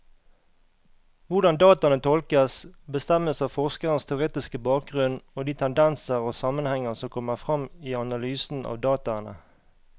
Hvordan dataene tolkes, bestemmes av forskerens teoretiske bakgrunnen og de tendenser og sammenhenger som kommer frem i analysen av dataene.